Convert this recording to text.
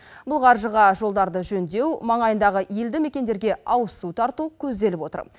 бұл қаржыға жолдарды жөндеу маңайындағы елді мекендерге ауызсу тарту көзделіп отыр